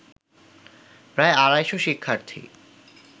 প্রায় আড়াইশ শিক্ষার্থী